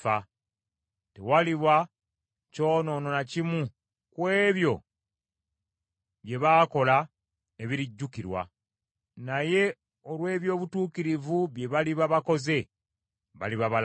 Tewaliba kyonoono na kimu ku ebyo bye baakola ebirijjukirwa, naye olw’eby’obutuukirivu bye baliba bakoze, baliba balamu.